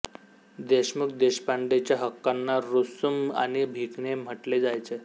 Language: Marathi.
देशमुख देशपांडेच्या हक्कांना रुसूम आणि भिकणे म्हटले जायचे